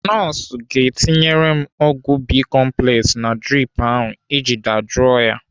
Nọọsụ ga-etinyere m ọgwụ bicomplex na drip ahụ iji dajụọ ya.